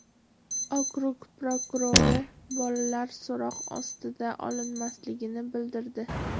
Okrug prokurori bolalar so‘roq ostiga olinmasligini bildirdi.